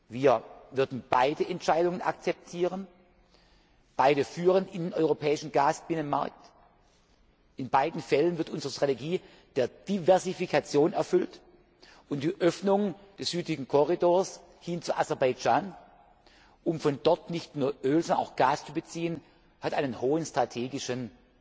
Jahres. Wir würden beide Entscheidungen akzeptieren Beide führen in den europäischen Gasbinnenmarkt, in beiden Fällen wird unsere strategisches Ziel der Diversifikation erfüllt, und die Öffnung des südlichen Korridors nach Aserbaidschan, um von dort nicht nur Öl, sondern auch Gas zu beziehen, hat einen hohen strategischen